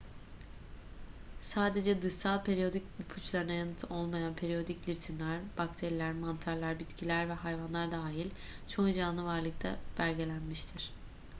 sadece dışsal periyodik ipuçlarına yanıt olmayan periyodik ritimler bakteriler mantarlar bitkiler ve hayvanlar dahil çoğu canlı varlıkta belgelenmiştir